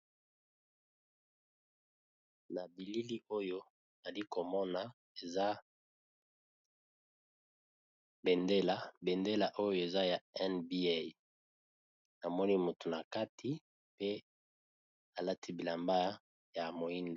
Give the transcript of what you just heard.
Na bilili oyo ali komona eza bendela, bendela oyo eza ya Nba namoni motu na kati pe alati bilamba ya moyindo.